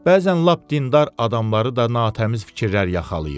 Bəzən lap dindar adamları da natəmiz fikirlər yaxalayır.